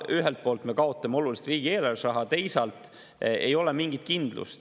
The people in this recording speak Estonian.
Ühelt poolt me kaotame oluliselt riigieelarves raha, teisalt ei ole mingit kindlust.